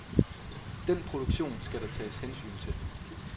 Den produktion skal der tages hensyn til.